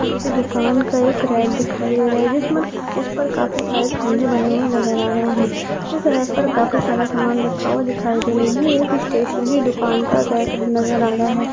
किसी दुकान का एक रैक दिखाई दे रहा है जिस पर काफी सारे खँजे बने नजर आ रहे है इस रैक पर काफी सारा सामान रखा हुआ दिखाई दे रहा है ये एक स्टेस्नरी दुकान का रैक नजर आ रहा है।